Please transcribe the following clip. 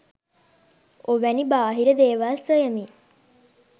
ඔවැනි බාහිර දේවල් සොයමින්